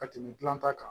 Ka tɛmɛ dilan ta kan